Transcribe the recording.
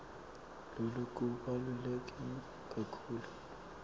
loku kubaluleke kakhulu